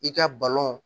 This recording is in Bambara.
I ka balɔn